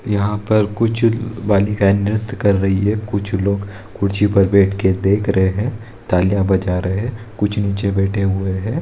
यहा पर कुछ बालिकाएं नृत्य कर रही हैं कुछ लोग कुर्सी पर बैठकर देख रहे है तालियां बजा रहे कुछ नीचे बैठे हुए हैं।